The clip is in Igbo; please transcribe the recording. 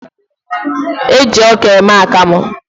E ji ọka eme akamụ.